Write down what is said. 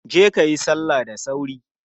Je kayi salla da sauri!